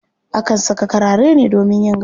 Akan saƙa karare ne domin yin gado.